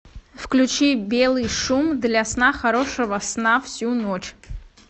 включи белый шум для сна хорошего сна всю ночь